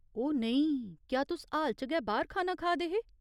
ओह् नेईं, क्या तुस हाल च गै बाह्‌र खाना खा दे हे ?